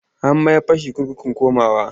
An mayar fa shi kurkukun Kurmawa.